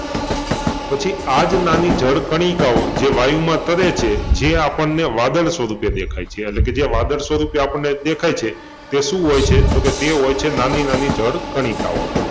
પછી આ જ નાની જળ કણિકાઓ જે વાયુમાં તરે છે જે આપણને વાદળ સ્વરૂપે દેખાય છે અને તે કે જે વાદળ સ્વરૂપે આપણને દેખાય છે તે શું હોય છે? તો કે તે હોય છે નાની નાની જળ કણિકાઓ